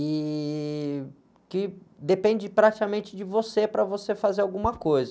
E que depende praticamente de você para você fazer alguma coisa.